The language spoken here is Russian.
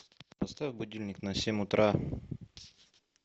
поставь будильник на семь утра